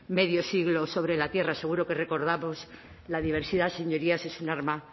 medio siglo sobre la tierra seguro que recordamos la diversidad señorías es un arma